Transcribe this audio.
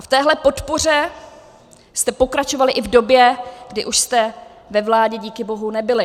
A v téhle podpoře jste pokračovali i v době, kdy už jste ve vládě díky bohu nebyli.